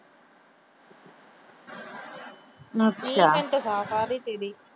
ਅੱਛਾ।